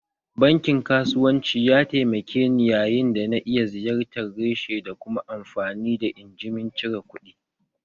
Bankin kasuwanci ya taimake ni yayin da na iya ziyartar reshe da kuma amfani da injimin cire kuɗi